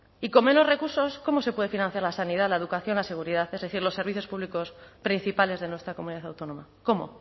y con menos recursos cómo se puede financiar la sanidad la educación la seguridad es decir los servicios públicos principales de nuestra comunidad autónoma cómo